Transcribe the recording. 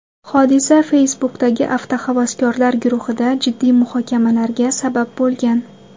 Hodisa Facebook’dagi avtohavaskorlar guruhida jiddiy muhokamalarga sabab bo‘lgan.